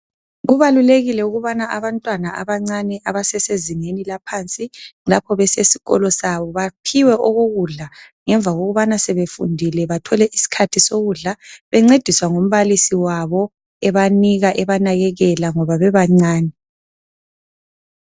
Kubalulekile ukuthi abantwana abancane abesesezingeni laphansi lapho besesikolo baphiwe okokudla ngemva kokubana sebefundile. Bencediswa ngumbalisi wabo ebanika ebanakekela ngoba bebancane.